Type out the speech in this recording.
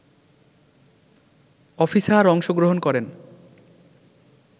officer অংশগ্রহণ করেন